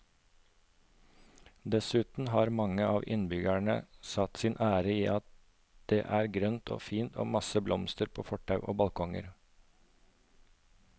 Dessuten har mange av innbyggerne satt sin ære i at det er grønt og fint og masse blomster på fortau og balkonger.